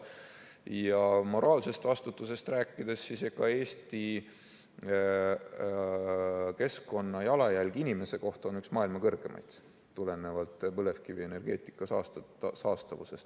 Ja moraalsest vastutusest rääkides, Eesti keskkonnajalajälg inimese kohta on üks maailma suuremaid, tulenevalt põlevkivienergeetika saastavusest.